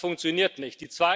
Das funktioniert nicht.